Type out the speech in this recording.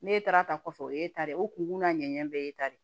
Ne taara ta kɔfɛ o ye e ta de ye o kun n'a ɲɛɲɛ bɛɛ ye ta de